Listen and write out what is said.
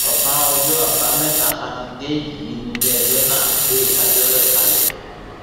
ọsán ọjọ àbámẹta sátidé yìí níléẹjọ náà gbé ìdájọ rẹ kalẹ